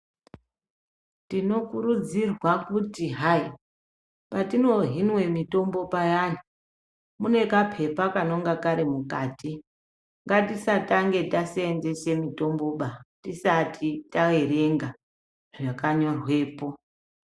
Tinokurudzirwa kuti hayi patinohinwe mitombo payani munekapepa kanenge Kari mukati. Ngatisatange tasenzesa mitomboba tisati taverenga zvakanyorwepo.